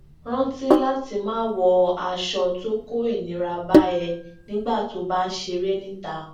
rántí láti máa wọ aṣọ tó o ko inira ba ẹ nígbà tó o bá ń ṣere nita